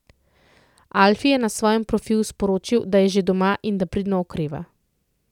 Alfi je na svojem profilu sporočil, da je že doma in da pridno okreva.